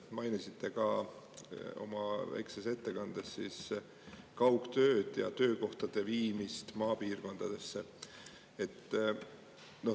Te mainisite ka oma väikses ettekandes kaugtööd ja töökohtade viimist maapiirkondadesse.